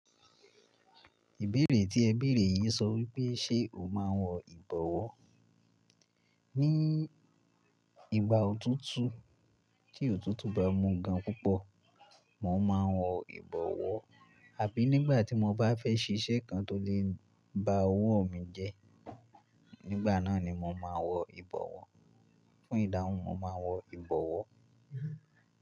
Ìbéèrè tí ẹ béèrè yìí sọ wípé ṣe o máa ń wọ ìbọ̀wọ́? Ní ìgbà òtútù tí òtútù bá mú gan púpọ̀, mò ń máa wọ ìbọ̀wọ́. Àbí nígbà tí mo bá fẹ́ ṣe iṣẹ́ kan tó lè ba owó mi jẹ́, nígbà náà ni mò ń máa wọ ìbọ̀wọ́. Fún ìdáhùn mò ń máa wọ ìbọ̀wọ́.